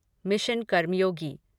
mission Karmayogi